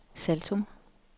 Saltum